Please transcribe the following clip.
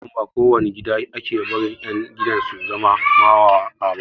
Har yanzun ba ko wani gida ake barin ƴan gidan su zama mawaƙa ba